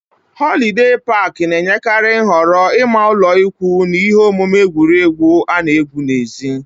Họlidee pak na-enyekarị nhọrọ ịma ụlọikwuu na ihe omume egwuregwu ana égwu n'èzí